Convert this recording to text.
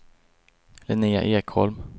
Linnéa Ekholm